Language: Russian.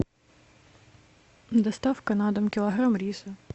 доставка на дом килограмм риса